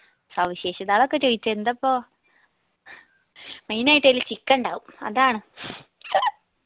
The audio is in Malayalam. സവിശേഷതാന്ന് ചോദിച്ചാ എന്താ ഇപ്പോ അയിനായിട്ടെല്ലു chicken ഇണ്ടാവും അതാണ്